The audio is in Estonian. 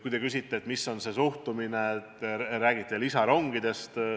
Kui te küsite, et milline on suhtumine lisarongidesse.